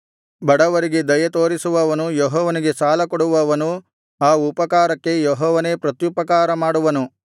ಬಡವರಿಗೆ ದಯೆತೋರಿಸುವವನು ಯೆಹೋವನಿಗೆ ಸಾಲಕೊಡುವವನು ಆ ಉಪಕಾರಕ್ಕೆ ಯೆಹೋವನೇ ಪ್ರತ್ಯುಪಕಾರ ಮಾಡುವನು